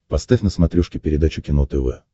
поставь на смотрешке передачу кино тв